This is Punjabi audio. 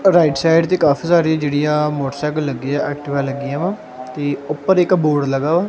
ਰਾਇਟ ਸਾਈਡ ਤੇ ਕਾਫੀ ਸਾਰੀਆਂ ਜੇਹੜੀਆਂ ਮੋਟਰਸੈਂਕਲ ਲੱਗੀ ਆ ਐਕਟਿਵਾ ਲੱਗਿਆ ਵਾ ਤੇ ਉੱਪਰ ਇਕ ਬੋਰਡ ਲੱਗਾ ਹੋਇਆ।